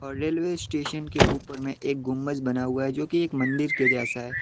Railway station के ऊपर में एक गुंबज बना हुआ है जो की एक मंदिर के जैसा है।